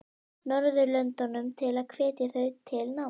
Norðurlöndunum til að hvetja þau til náms?